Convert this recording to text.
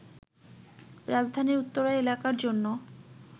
রাজধানীর উত্তরা এলাকার জন্য